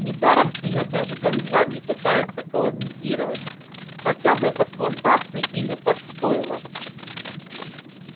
недаром её даже ганза не пытается колонизировать хотя бы под плантации или под стойла